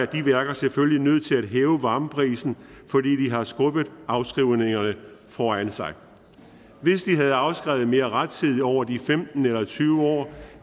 de værker selvfølgelig nødt til at hæve varmeprisen fordi de har skubbet afskrivningerne foran sig hvis de havde afskrevet mere rettidigt over de femten eller tyve år